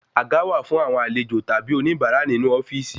Àga wà fún àwọn àlejò tàbí oní bara ninu ofíìsì